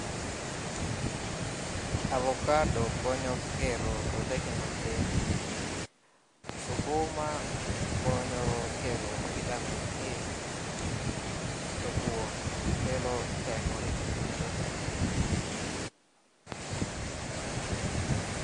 Avocado konyo gero roteke mag del ,sukuma konyo kelo vitamin A to kuon kelo teko e del medo teko